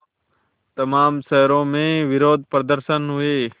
तमाम शहरों में विरोधप्रदर्शन हुए